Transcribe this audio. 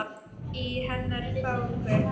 Í hennar þágu.